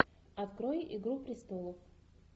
открой игру престолов